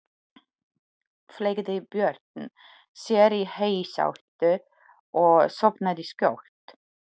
Fleygði Björn sér í heysátu og sofnaði skjótt.